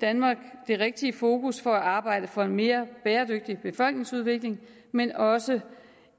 danmark det rigtige fokus på at arbejde for en mere bæredygtig befolkningsudvikling men også